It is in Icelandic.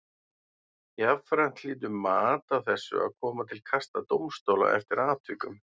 Jafnframt hlýtur mat á þessu að koma til kasta dómstóla eftir atvikum.